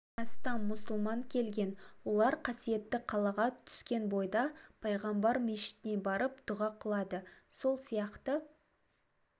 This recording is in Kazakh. астам мұсылман келген олар қасиетті қалаға түскен бойда пайғамбар мешітіне барып дұға қылады сол сияқты